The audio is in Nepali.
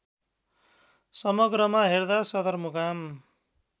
समग्रमा हेर्दा सदरमुकाम